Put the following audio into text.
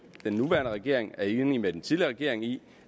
den nuværende regering er enig med den tidligere regering i